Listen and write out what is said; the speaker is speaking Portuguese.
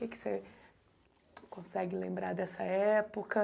O que que você consegue lembrar dessa época?